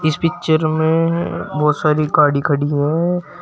इस पिक्चर में बहुत सारी गाड़ी खड़ी है।